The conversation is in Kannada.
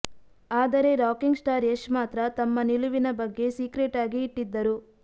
ಆದರೆ ರಾಕಿಂಗ್ ಸ್ಟಾರ್ ಯಶ್ ಮಾತ್ರ ತಮ್ಮ ನಿಲುವಿನ ಬಗ್ಗೆ ಸೀಕ್ರೆಟ್ ಆಗಿ ಇಟ್ಟಿದ್ದರು